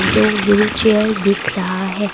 दो व्हीलचेयर दिख रहा है।